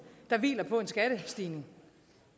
der hviler på en skattestigning